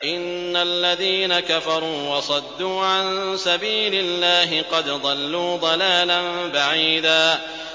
إِنَّ الَّذِينَ كَفَرُوا وَصَدُّوا عَن سَبِيلِ اللَّهِ قَدْ ضَلُّوا ضَلَالًا بَعِيدًا